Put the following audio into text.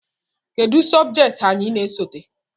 Kedu sobjekti anyị na-esote?